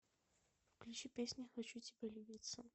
включи песня хочу тибя любицца